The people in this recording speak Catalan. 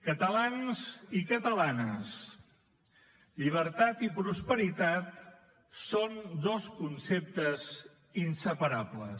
catalans i catalanes llibertat i prosperitat són dos conceptes inseparables